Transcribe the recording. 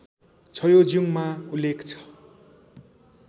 छ्योज्युङमा उल्लेख छ